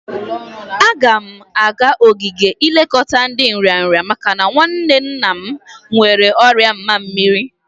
Agam aga ogige ilekọta ndi nrịanrị maka nwanne nna m nwere ọrịa mamiri.